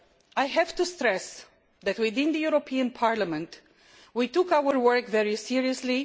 I have to stress that within the European Parliament, we took our work very seriously.